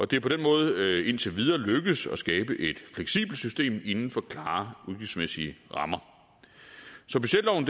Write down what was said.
det er på den måde indtil videre lykkedes at skabe et fleksibelt system inden for klare udgiftsmæssige rammer så budgetloven